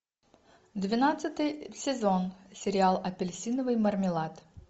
двенадцатый сезон сериал апельсиновый мармелад